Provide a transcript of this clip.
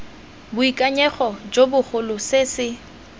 boikanyego jo bogolo se se